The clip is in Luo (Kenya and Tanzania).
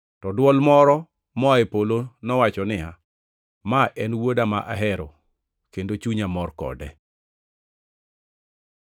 To dwol moro moa e polo nowacho niya, “Ma en wuoda, ma ahero, kendo chunya mor kode.”